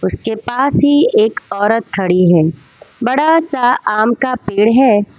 उसके पास ही एक औरत खड़ी है बड़ा सा आम का पेड़ है।